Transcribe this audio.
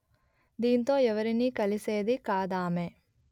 దీంతో ఎవరినీ కలిసేది కాదామె